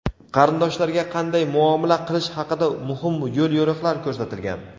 qarindoshlarga qanday muomala qilish haqida muhim yo‘l-yo‘riqlar ko‘rsatilgan.